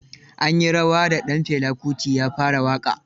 An yi rawa da ɗan Fela Kuti ya fara waƙa